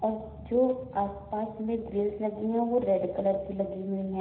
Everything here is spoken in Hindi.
जो आस पास में ग्रिल्स लगी हैं वो रेड कलर की लगी हुई हैं।